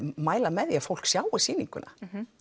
mæla með því að fólk sjái þessa sýningu